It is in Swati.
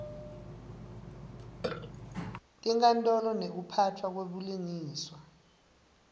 tinkantolo nekuphatfwa kwebulungiswa